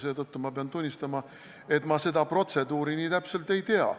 Seetõttu pean ma tunnistama, et ma seda protseduuri nii täpselt ei tea.